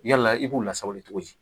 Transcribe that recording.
Yala i b'u lasabali cogo di